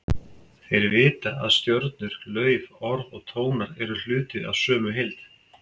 Þeir vita að stjörnur, lauf, orð og tónar eru hluti af sömu heild.